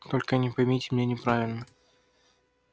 только не поймите меня неправильно